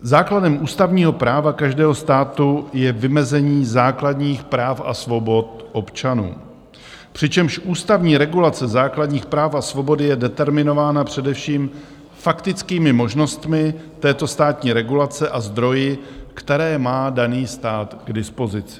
Základem ústavního práva každého státu je vymezení základních práv a svobod občanů, přičemž ústavní regulace základních práv a svobod je determinována především faktickými možnostmi této státní regulace a zdroji, které má daný stát k dispozici.